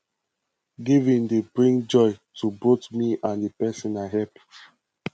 giving dey bring joy to both me and the person i help